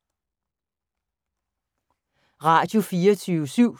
Radio24syv